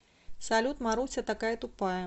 салют маруся такая тупая